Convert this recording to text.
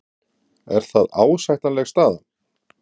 Er það ásættanleg staða?